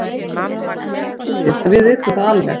Stjarnan er með hörkulið, við vitum það alveg.